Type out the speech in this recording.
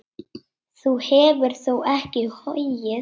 Þú hefur þó ekki hoggið?